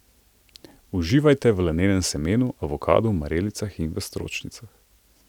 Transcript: Uživajte v lanenem semenu, avokadu, marelicah in v stročnicah.